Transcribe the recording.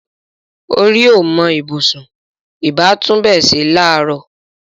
Orí ò mọ ibùsùn; ìbá tún ibẹ̀ ṣe láàárọ̀